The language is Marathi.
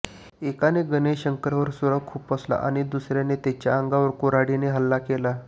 एकाने गणेश शंकरवर सुरा खुपसला आणि दुसऱयाने त्यांच्यावर कुऱहाडीने हल्ला केला